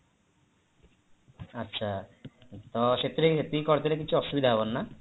ଆଚ୍ଛା ତ ସେଥିରେ ଏତିକି କରିଦେଲେ କିଛି ଅସୁବିଧା ହବନି ନା